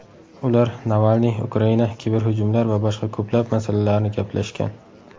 Ular Navalniy, Ukraina, kiberhujumlar va boshqa ko‘plab masalalarni gaplashgan.